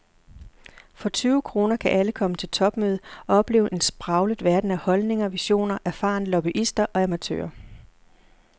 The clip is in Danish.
For tyve kroner kan alle komme til topmøde og opleve en spraglet verden af holdninger, visioner, erfarne lobbyister og amatører.